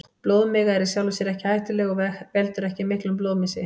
Blóðmiga er í sjálfu sér ekki hættuleg og veldur ekki miklum blóðmissi.